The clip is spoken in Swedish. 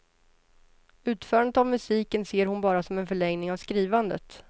Utförandet av musiken ser hon bara som en förlängning av skrivandet.